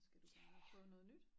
Skal du bare prøve noget nyt